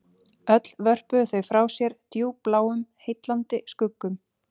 Öll vörpuðu þau frá sér djúpbláum heillandi skuggum